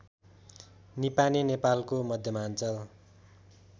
निपाने नेपालको मध्यमाञ्चल